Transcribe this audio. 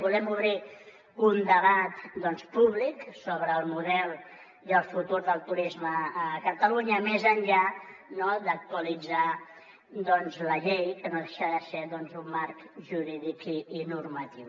volem obrir un debat públic sobre el model i el futur del turisme a catalunya més enllà d’actualitzar la llei que no deixa de ser un marc jurídic i normatiu